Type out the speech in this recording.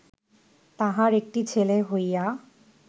তাহার একটি ছেলে হইয়া